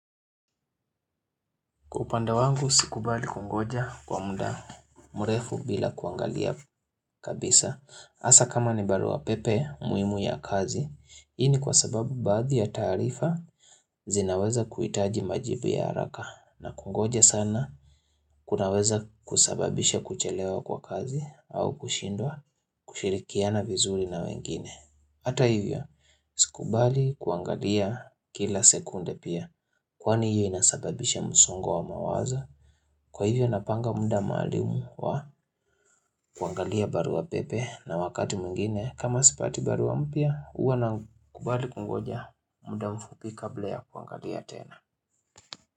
Kupanda wangu, sikubali kungoja kwa mda mrefu bila kuangalia kabisa. Hasa kama ni barua pepe muhimu ya kazi, hii kwa sababu baadhi ya taarifa zinaweza kuhitaji majibu ya haraka. Na kungoja sana, kunaweza kusababisha kuchelewa kwa kazi au kushindwa kushirikiana vizuri na wengine. Hata hivyo, sikubali kuangalia kila sekunde pia. Kwani hiyo inasababisha msongo wa mawazo. Kwa hivyo napanga mda maalumu wa kuangalia barua pepe na wakati mwingine kama sipati barua mpya, huwa nakubali kungojea mda mfupi kabla ya kuangalia tena.